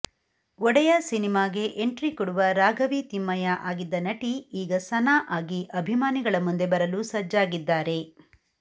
ಒಡೆಯ ಸಿನಿಮಾಗೆ ಎಂಟ್ರಿ ಕೊಡುವ ರಾಘವಿ ತಿಮ್ಮಯ್ಯ ಆಗಿದ್ದ ನಟಿ ಈಗ ಸನಾ ಆಗಿ ಅಭಿಮಾನಿಗಳ ಮುಂದೆ ಬರಲು ಸಜ್ಜಾಗಿದ್ದಾರೆ